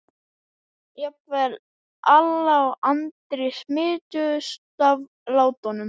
Jafnvel Alla og Andri smituðust af látunum.